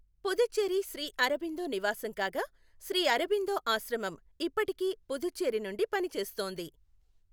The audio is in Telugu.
పుదుచ్చేరి శ్రీ అరబిందో నివాసం కాగా, శ్రీ అరబిందో ఆశ్రమం ఇప్పటికీ పుదుచ్చేరి నుండి పనిచేస్తోంది.